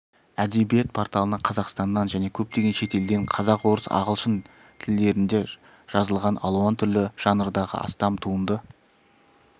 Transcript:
әдебиет порталына қазақстаннан және көптеген шетелден қазақ орыс ағылшын тілдерінде жазылған алуан түрлі жанрдағы астам туынды